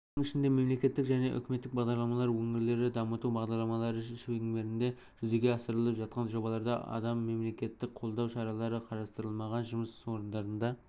оның ішінде мемлекеттік және үкіметтік бағдарламалар өңірлерді дамыту бағдарламалары шеңберінде жүзеге асырылып жатқан жобаларда адам мемлекеттік қолдау шаралары қарастырылмаған жұмыс орындарына